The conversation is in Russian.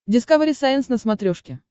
дискавери сайенс на смотрешке